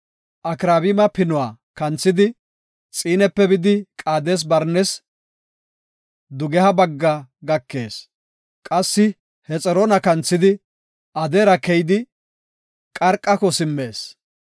Akraabima Pinuwa kanthidi, Xiinepe bidi, Qaades-Barnes dugeha bagga gakees. Qassi Hexroona kanthidi, Adaare keydi, Qarqako simmees.